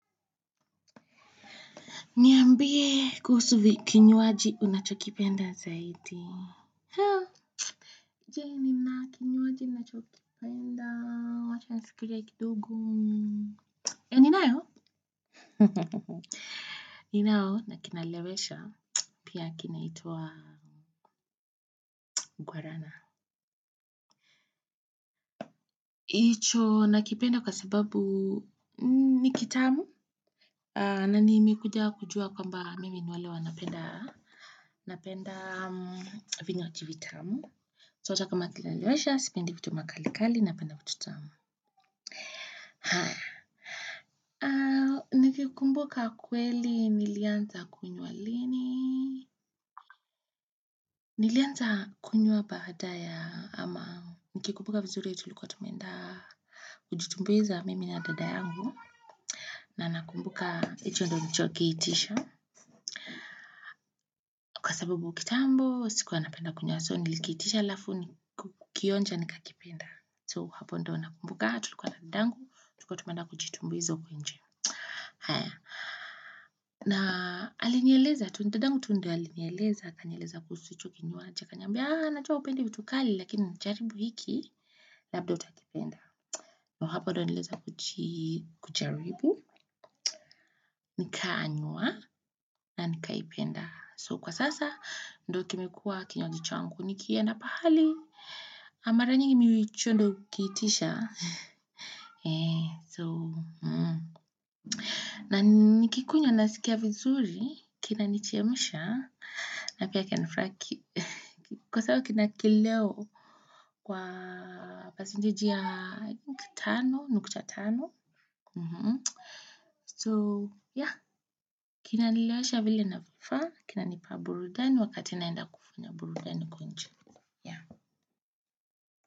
Niambie kuhusu vi kinywaji unachokipenda zaidi. Je, nina kinywaji nachokipenda? Wacha nifikirie kidogo. Eeh ninayo. Ninao, na kinalewesha. Pia kinaitwa Guarana. Icho nakipenda kwa sababu ni kitamu. Na nimekuja kujua kwamba mimi ni wale wanapenda vinywaji vitamu. So hata kama kinalewesha, sipendi kitu makalikali napenda vitu tamu. Nikikumbuka kweli nilianza kunywa lini? Nilianza kunywa baada ya ama nikikumbuka vizuri tulikuwa tumeenda kujitumbuiza mimi na dada yangu. Na nakumbuka hicho ndo nilichokiitisha. Kwa sababu kitambo, sikuwa napenda kunywa so nilikiitisha halafu kukionja nikakipenda. So hapo ndo nakumbuka, tulikuwa na dadangu, tulikuwa tumeenda kujitumbuiza huku nje. Haya, na alinieleza tu, dadangu tu ndio alinieleza akanieleza kuhusu hicho kinywaji, akaniambia najua hupendi vitu kali lakini jaribu hiki, labda utakipenda. So, hapo ndo niliweza kujaribu, nikanywa, na nikaipenda. So, kwa sasa, ndo kimekuwa kinywaji changu, nikienda pahali, mara nyingi mi hicho ndo hukiitisha. So, na nikikunywa nasikia vizuri, kinanichemsha, na pia kina nifraki, kwa sawa kina kileo kwa percentage ya i think tano nukta tano, so ya, kinanilewesha vile inafaa, kinanipa burudani wakati naenda kufanya burudani huko nje.